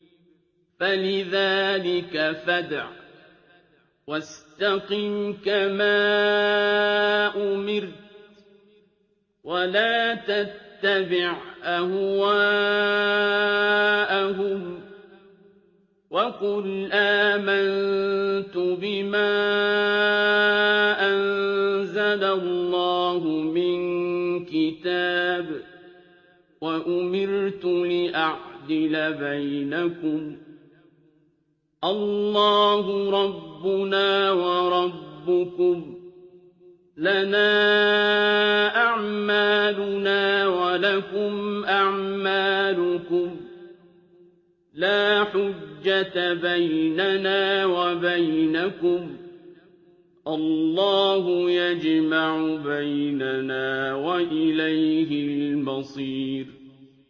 فَلِذَٰلِكَ فَادْعُ ۖ وَاسْتَقِمْ كَمَا أُمِرْتَ ۖ وَلَا تَتَّبِعْ أَهْوَاءَهُمْ ۖ وَقُلْ آمَنتُ بِمَا أَنزَلَ اللَّهُ مِن كِتَابٍ ۖ وَأُمِرْتُ لِأَعْدِلَ بَيْنَكُمُ ۖ اللَّهُ رَبُّنَا وَرَبُّكُمْ ۖ لَنَا أَعْمَالُنَا وَلَكُمْ أَعْمَالُكُمْ ۖ لَا حُجَّةَ بَيْنَنَا وَبَيْنَكُمُ ۖ اللَّهُ يَجْمَعُ بَيْنَنَا ۖ وَإِلَيْهِ الْمَصِيرُ